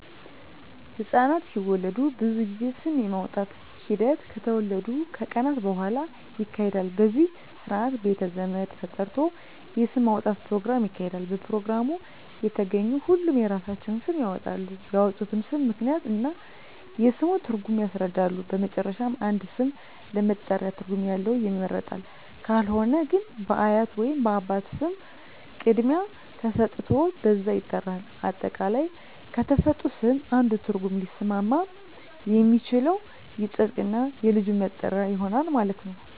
ህፃናት ሲወለዱ ብዙ ጊዜ ስም የማውጣት ሒደት ከተወለዱ ከቀናት በሁዋላ ይካሄዳል በዚህም ስርአት ቤተ ዘመድ ተጠርቶ የስም ማውጣት ኘሮግራም ይካሄዳል በፕሮግራሙ የተገኙ ሁሉም የራሳቸውን ስም ያወጣሉ ያወጡትንም ስም ምክንያት እና የስሙን ትርጉም ያስረዳሉ በመጨረሻም አንድ ስም ለመጠሪያ ትርጉም ያለው ይመረጣል ካልሆነ ግን በአያት ወይንም በአባት ስም ቅድሚያ ተሠጥቶት በዛ ይጠራል። አጠቃላይ ከተሠጡት ስም አንዱ ትርጉም ሊስማማ የሚችለው ይፀድቅ እና የልጁ መጠሪያ ይሆናል ማለት ነው።